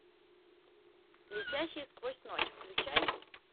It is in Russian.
летящие сквозь ночь включай